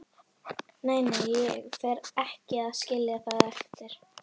Nei, nei, ég fer ekki að skilja það eftir.